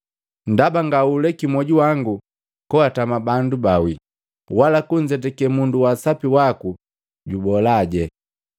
ndaba ngauleki mwoju wangu koatama bandu baawii, wala kunzetake mundu wa sapi waku juboola.